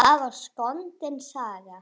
Skarpi þurfi að.